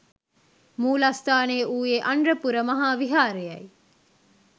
මූලස්ථානය වූයේ අනුරපුර මහා විහාරයයි.